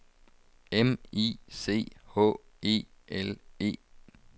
M I C H E L E